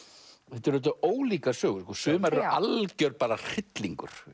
þetta eru auðvitað ólíkar sögur sumar eru algjör hryllingur